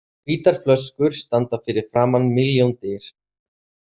Hvítar flöskur standa fyrir framan milljón dyr.